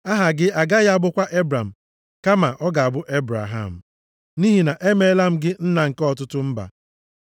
Aha gị agaghị abụkwa Ebram, kama ọ ga-abụ Ebraham, nʼihi na emeela m gị nna nke ọtụtụ mba.